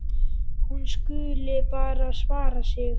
Hún skuli bara vara sig.